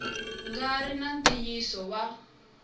nga ri na ntiyiso wa